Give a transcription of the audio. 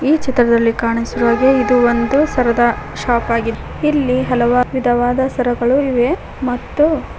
ಈ ಚಿತ್ರದಲ್ಲಿ ಕಾಣಿಸಿರುವ ಹಾಗೆ ಇದು ಒಂದು ಸರದ ಶಾಪ್ ಆಗಿದೆ ಇಲ್ಲಿ ಹಲವ ವಿಧವಾದ ಸರಗಳು ಇವೆ ಮತ್ತು --